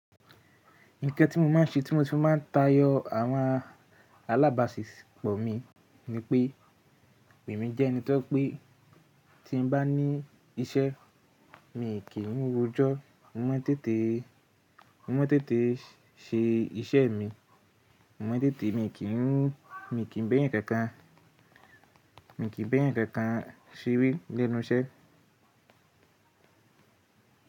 Nǹkan tí mo máa ń ṣe tí mo tí máa ń tayọ àwọn alábàáṣisọ̀pọ̀ mi ni pé, èmi jẹ́ ẹni tó je pé tí n bá ní isẹ mi kì í rojó mo máa ń tètè, mo máa ń tètè se isẹ́ mi, mo máa ń tètè mi kì í mú, mi kì í ba ẹ́eyan kankan, mi kì í ba eeyan kankan sere lẹ́nu isẹ́.